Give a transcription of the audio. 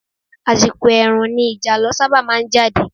Àsìkò ẹ̀ẹ̀rùn ni ìjàlọ sábà máa jáde.